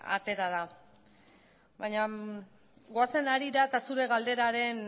atera da baina goazen harira eta zure galderaren